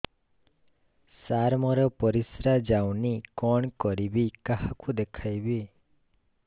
ସାର ମୋର ପରିସ୍ରା ଯାଉନି କଣ କରିବି କାହାକୁ ଦେଖେଇବି